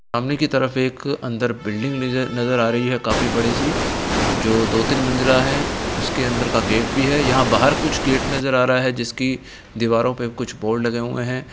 बंगले की तरफ एक अंदर बिल्डिंग नजर-नजर आ रही है काफी बड़ी सी जो दो तीन मंजिला है | उसके अंदर का गेट भी है यहाँ बाहर कुछ गेट नजर आ रहा है जिसकी दीवारों पे कुछ बोर्ड लगे हुए हैं।